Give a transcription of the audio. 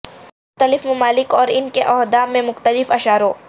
مختلف ممالک اور ان کے عہدہ میں مختلف اشاروں